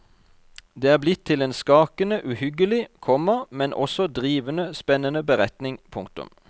Det er blitt til en skakende uhyggelig, komma men også drivende spennende beretning. punktum